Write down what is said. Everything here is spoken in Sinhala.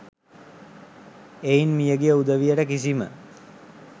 එයින් මියගිය උදවියට කිසිම